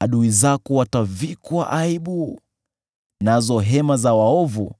Adui zako watavikwa aibu, nazo hema za waovu